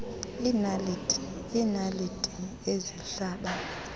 iinaliti iinaliti ezihlaba